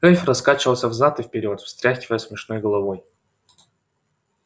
эльф раскачивался взад и вперёд встряхивая смешной головой